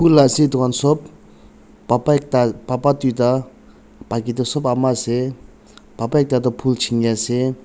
bhul ase edu khan sop baba ekta baba tuita baki toh sop ama ase baba ekta tu phul chiniase.